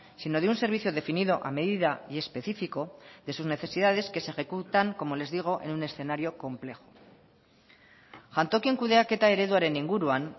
sino de un servicio definido a medida y específico de sus necesidades que se ejecutan como les digo en un escenario complejo jantokien kudeaketa ereduaren inguruan